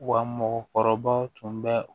Wa mɔgɔkɔrɔbaw tun bɛ